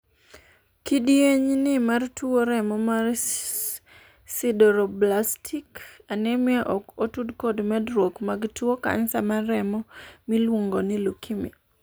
kidieny ni mar tuo remo mar sideroblastic anemia ok otud kod medruok mar tuo kansa mar remo miluongo ni leukemia